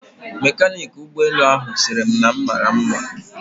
Mekaniki ụgbọelu ahụ sịrị m na m mara nma